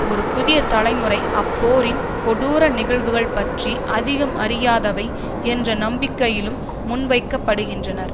ஒரு புதிய தலைமுறை அப்போரின் கொடூர நிகழ்வுகள் பற்றி அதிகம் அறியாதவை என்ற நம்பிக்கையிலும் முன்வைக்கப்படுகின்றன